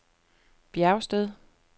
Bjergsted